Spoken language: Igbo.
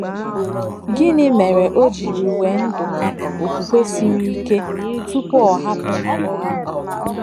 Gịnị mere o jiri wee Ndụka okwukwe siri ike tupu ọ hapụ ala ahụ?